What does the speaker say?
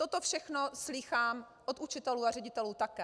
Toto všechno slýchám od učitelů a ředitelů také.